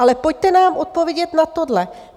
Ale pojďte nám odpovědět na tohle.